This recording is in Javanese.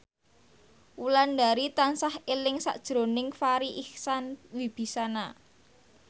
Wulandari tansah eling sakjroning Farri Icksan Wibisana